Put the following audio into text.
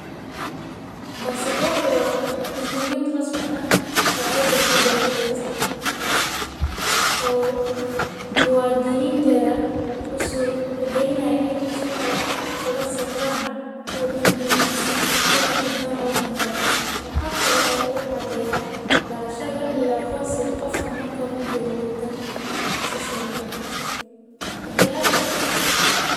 Basaborku waa rasmi oo dowlad walbo bixiso oo muwadininta ugu suurta galinaya inaay uga safraan wadanka dexdiisa wuxuu cadeeya dalasha iyo aqoonsiga waxa cadeeyo.